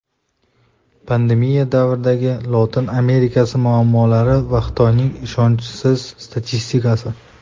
Pandemiya davridagi Lotin Amerikasi muammolari va Xitoyning ishonchsiz statistikasi.